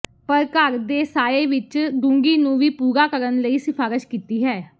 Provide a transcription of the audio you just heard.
ਪਰ ਘਰ ਦੇ ਸਾਯੇ ਵਿਚ ਡੂੰਘੀ ਨੂੰ ਵੀ ਪੂਰਾ ਕਰਨ ਲਈ ਸਿਫਾਰਸ਼ ਕੀਤੀ ਹੈ